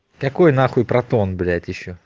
какой на хуй протон блять ещё